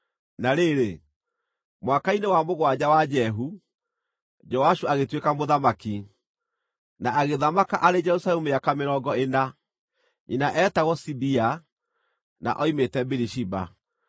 Na rĩrĩ, mwaka-inĩ wa mũgwanja wa Jehu, Joashu agĩtuĩka mũthamaki, na agĩthamaka arĩ Jerusalemu mĩaka mĩrongo ĩna. Nyina eetagwo Zibia; na oimĩte Birishiba.